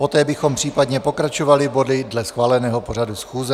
Poté bychom případně pokračovali body dle schváleného pořadu schůze.